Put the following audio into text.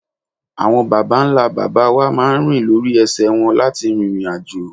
Àwọn bàbá ńlá babawa máa rìn lórí ese won láti rin ìrìn àjò.